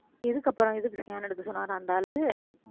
எதுக்கு அப்புறம் எதுக்கு scan எடுக்க சொன்னாராம் அந்த ஆளு